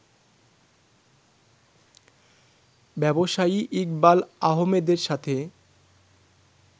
ব্যবসায়ী ইকবাল আহমেদের সাথে